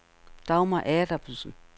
Dagmar Adamsen